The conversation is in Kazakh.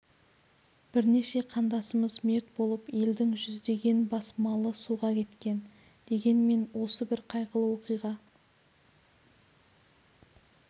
бірнеше қандасымыз мерт болып елдің жүздеген бас малы суға кеткен дегенмен осы бір қайғылы оқиға